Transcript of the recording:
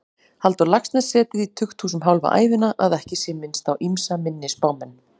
Halldór Laxness setið í tukthúsum hálfa ævina, að ekki sé minnst á ýmsa minni spámenn.